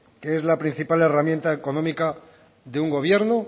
que es la principal herramienta económica de un gobierno